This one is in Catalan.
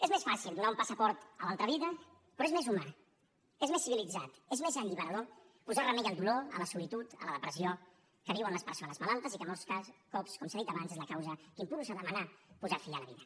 és més fàcil donar un passaport a l’altra vida però és més humà és més civilitzat és més alliberador posar remei al dolor a la solitud a la depressió que viuen les persones malaltes i que molts cops com s’ha dit abans és la causa que impulsa a demanar posar fi a la vida